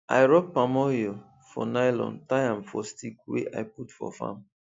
i rub palm oil for nylon tie am for stick wey i put for farm